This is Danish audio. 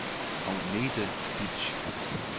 Agnete Bitsch